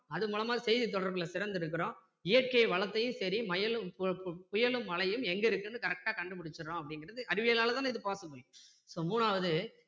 அதன் மூலமா செய்தி தொடர்பில சிறந்திருக்கிறோம் இயற்கை வளத்தையும் சரி மழையும்~புயலும் மழையும் எங்க இருக்குன்னு correct டா கண்டு பிடிச்சிடுறோம் அப்படிங்கிறது அறிவியலால தானே இது possible so மூணாவது